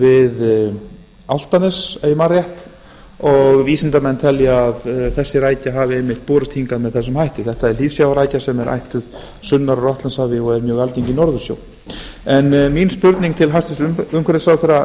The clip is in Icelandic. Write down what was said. við álftanes ef ég man rétt og vísindamenn telja að þessi rækja hafi einmitt borist hingað með þessum hætti þetta er djúpsjávarrækja sem er ættuð sunnar úr atlantshafi og er mjög algeng í norðursjó mín spurning til hæstvirts umhverfisráðherra